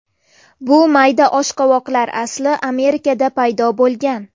Bu mayda oshqovoqlar asli Amerikada paydo bo‘lgan.